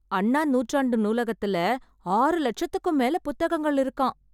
அண்ணா நூற்றாண்டு நூலகத்துல ஆறு லட்சத்துக்கும் மேல புத்தகங்கள் இருக்காம்...